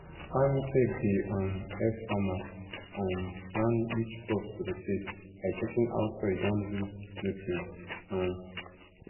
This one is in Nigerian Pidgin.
agritech dey um help farmers um plan which crops to rotate by checking how soil don lose nutrients um